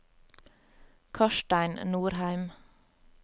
Karstein Norheim